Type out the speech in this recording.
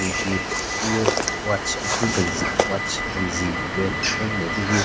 Tsü nyeki gungü watch akhin kenzi watch kenzi red den matse hyu.